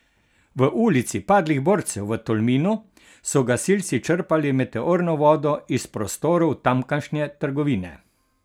V Ulici padlih borcev v Tolminu so gasilci črpali meteorno vodo iz prostorov tamkajšnje trgovine.